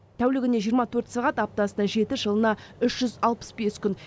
тәулігіне жиырма төрт сағат аптасына жеті жылына үш жүз алпыс бес күн